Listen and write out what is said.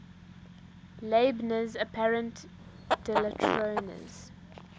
leibniz's apparent dilatoriness